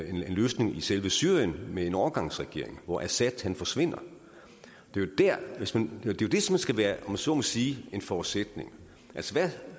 en løsning i selve syrien med en overgangsregering hvor assad forsvinder det er jo det som skal være om jeg så må sige en forudsætning